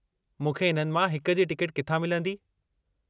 मूंखे इन्हनि मां हिकु जी टिकट किथां मिलंदी ?